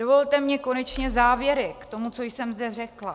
Dovolte mi konečně závěry k tomu, co jsem zde řekla.